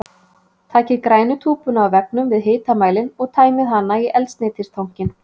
Takið grænu túbuna á veggnum við hitamælinn og tæmið hana í eldsneytistankinn.